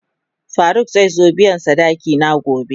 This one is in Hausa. Faruk zai zo biyan sadaki na gobe.